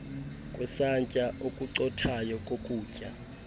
kwesantya okucothayo kokutya